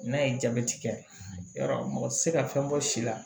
N'a ye jabɛti kɛ yarɔ mɔgɔ tɛ se ka fɛn bɔ si la